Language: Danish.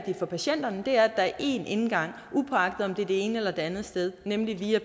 for patienterne er at der er én indgang upåagtet om det er det ene eller det andet sted nemlig via